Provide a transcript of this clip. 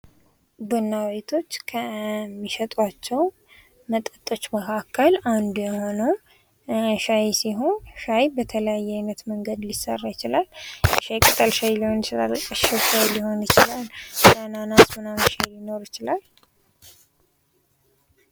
ቡና ቤቶች ከሚሸጧቸው መጠጦች መካከል አንዱ የሆነው ሻይ ሲሆን ሻይ በተለያየ አይነት መንገድ ሊሰራ ይችላል ሻይ ቅጠል ሻይ ጋር ሊሆን ይችላል የአናነስ ምናምን ሻይ ሊኖር ይችላል።